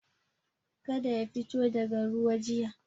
Kada ya fito daga ruwa jiya.